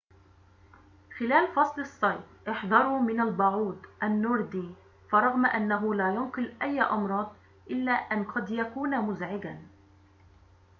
خلال فصل الصيف احذروا من البعوض النوردي فرغم أنه لا ينقل أي أمراض إلا أن قد يكون مزعجًا